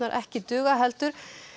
ekki duga heldur